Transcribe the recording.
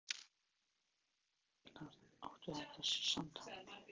Nokkrir dagar eru liðnir síðan mæðgurnar áttu þetta samtal.